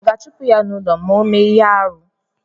A ga-achupu ya n'ulọ ma ọ mee ihe-árú?